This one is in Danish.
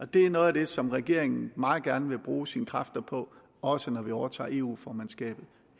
det er noget af det som regeringen meget gerne vil bruge sine kræfter på også når vi overtager eu formandskabet